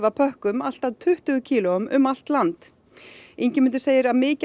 pökkum allt að tuttugu kílóum um allt land Ingimundur segir að mikið af